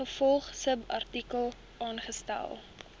ingevolge subartikel aangestel